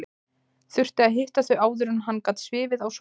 Þurfti að hitta þau áður en hann gat svifið á Sólborgu.